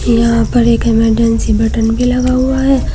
यहां पर एक इमरजेंसी बटन भी लगा हुआ है।